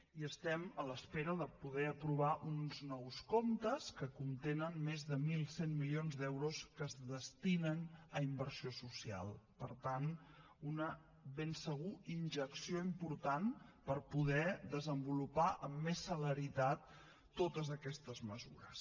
i estem en espera de poder aprovar uns nous comptes que contenen més de mil cent milions d’euros que es destinen a inversió social per tant una ben segur injecció important per poder desenvolupar amb més celeritat totes aquestes mesures